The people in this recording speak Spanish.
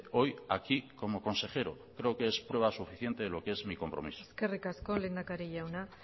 hoy aquí como consejero creo que es prueba suficiente de lo que es mi compromiso eskerrik asko lehendakari jauna